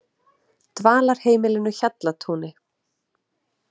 Dvalarheimilinu Hjallatúni